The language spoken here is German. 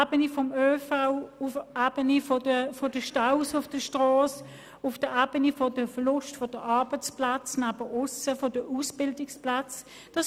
Dies betrifft die Ebenen des ÖV, der Staus auf den Strassen oder des Verlusts von Arbeits- und Ausbildungsplätzen in Randregionen.